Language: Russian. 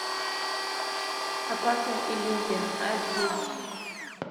опасная иллюзия аш ди